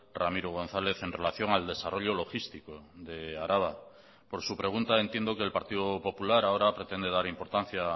ramiro gonzález en relación al desarrollo logístico de araba por su pregunta entiendo que el partido popular ahora pretende dar importancia